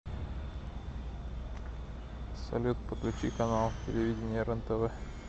салют подключи канал телевидения рентв